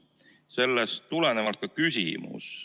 Sellest tulenevalt ka küsimus.